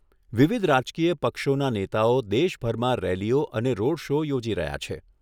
વિવિધ રાજકીય પક્ષોના નેતાઓ દેશભરમાં રેલીઓ અને રોડ શો યોજી રહ્યા છે.